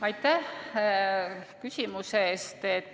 Aitäh küsimuse eest!